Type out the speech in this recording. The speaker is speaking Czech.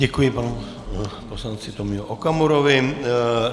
Děkuji panu poslanci Tomiu Okamurovi.